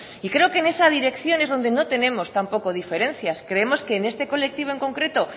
y creo que en esa dirección es donde no tenemos tampoco diferencias creemos que en este colectivo en concreto